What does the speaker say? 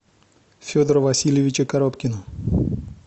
федора васильевича коробкина